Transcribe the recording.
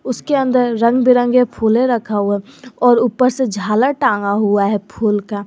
उसके अंदर रंग बिरंगे फूले रखा हुआ और ऊपर से झालर टांगा हुआ है फूल का।